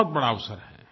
बहुत बड़ा अवसर है